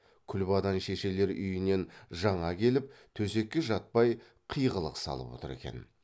күлбадан шешелер үйінен жаңа келіп төсекке жатпай қиғылық салып отыр екен